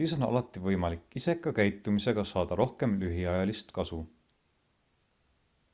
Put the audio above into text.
siis on alati võimalik iseka käitumisega saada rohkem lühiajalist kasu